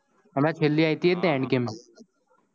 અને છ્લે આવી હતી ને એજ end game